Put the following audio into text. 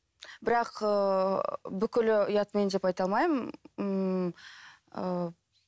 бірақ ыыы бүкілі ұятмен деп айта алмаймын ммм ыыы